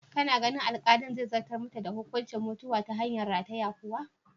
Kana ganin alkalin zai zartar mata da hukuncin mutuwa ta hanyar rataye kwa?